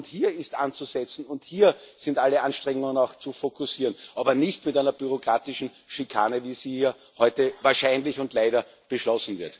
Hier ist anzusetzen, und hier sind alle Anstrengungen zu fokussieren, aber nicht mit einer bürokratischen Schikane, wie sie hier heute wahrscheinlich und leider beschlossen wird.